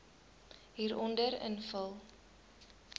hieronder invul